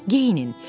Geyinin.